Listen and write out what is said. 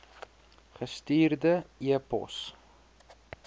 gestuurde e pos